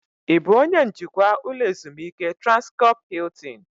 Ị bụ onye njikwa ụlọ ezumike Transkọp Hiltin?